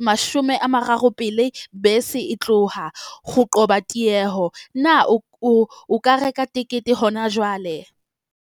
imashome a mararo pele bese e tloha ho qoba tieho. Na o o ka reka tekete hona jwale?